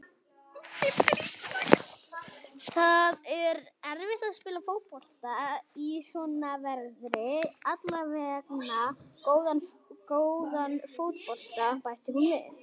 Það er erfitt að spila fótbolta í svona veðri, allavega góðan fótbolta, bætti hún við.